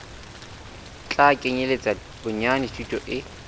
tla kenyeletsa bonyane thuto e